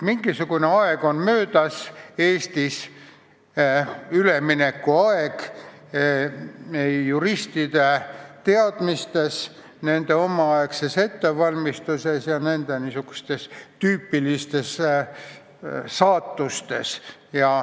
Mingisugune aeg on möödas Eestis, üleminekuaeg juristide teadmistes, nende omaaegses ettevalmistuses ja tüüpilistes saatustes.